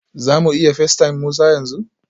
Za mu iya facetime Musa yanzu?